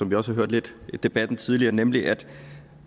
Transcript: vi også hørt lidt i debatten tidligere nemlig at